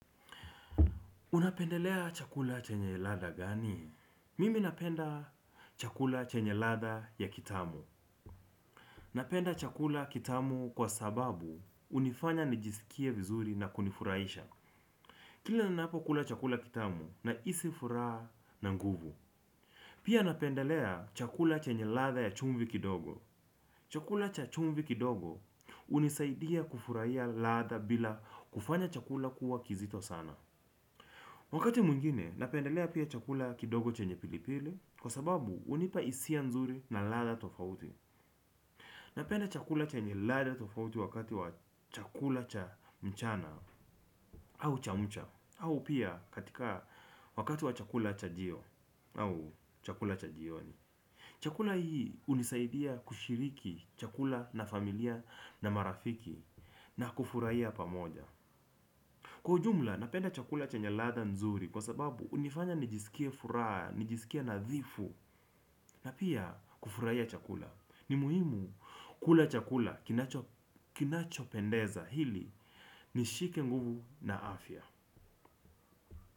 Unapendelea chakula chenya ladha gani mimi napenda chakula chenye ladha ya kitamu. Napenda chakula kitamu kwa sababu hunifanya nijisikie vizuri na kunifuraisha. Kile ninapokula chakula kitamu nahisi furaha na nguvu. Pia napendelea chakula chenye ladha ya chumvi kidogo. Chakula cha chumvi kidogo hunisaidia kufuraia ladha bila kufanya chakula kuwa kizito sana. Wakati mwingine, napendelea pia chakula kidogo chenye pilipili kwa sababu hunipa hisia nzuri na ladha tofauti. Napenda chakula chenye ladha tofauti wakati wa chakula cha mchana au chamcha au pia katika wakati wa chakula chajio au chakula cha jioni. Chakula hii hunisaidia kushiriki chakula na familia na marafiki na kufuraia pamoja. Kwa ujumla napenda chakula chenye ladha nzuri kwa sababu hunifanya nijisikie furaa, nijisikie nadhifu na pia kufuraia chakula. Ni muhimu kula chakula kinachopendeza hili nishike nguvu na afya.